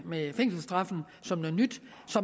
med fængselsstraffen som noget nyt